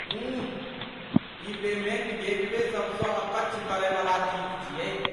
उँह, ई payment gateway सभसँ अकच्छ करैवला चीज छियै।